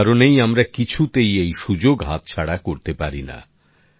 এই কারণেই আমরা কিছুতেই এই সুযোগ হাতছাড়া করতে পারিনা